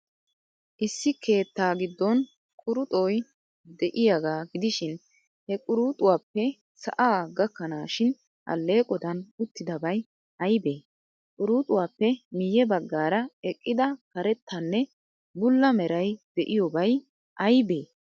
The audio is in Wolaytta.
Issi keettaa giddon quruxoy de'iyaagaa gidishin, he quruxuwaappe sa'aa gakkanaashin alleeqodan uttidabay aybee? Quruxuwaappe miyye baggaara eqqida karettanne bulla meray de'iyoobay aybee?